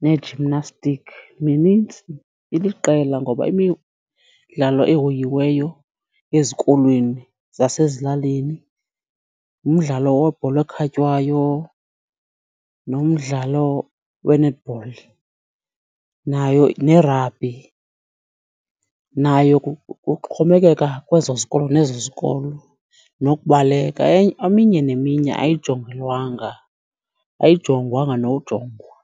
nee-gymnastic. Minintsi, iliqela ngoba imidlalo ehoyiweyo ezikolweni zasezilalini ngumdlalo webhola ekhatywayo nomdlalo we-netball, nayo nerabhi. Nayo kuxhomekeka kwezo zikolo nezo zikolo nokubaleka. Eminye neminye ayijongelwanga, ayijongwa nojongwa.